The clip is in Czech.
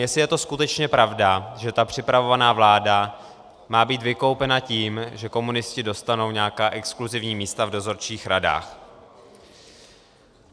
Jestli je to skutečně pravda, že ta připravovaná vláda má být vykoupena tím, že komunisti dostanou nějaká exkluzivní místa v dozorčích radách.